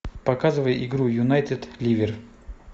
показывай игру юнайтед ливер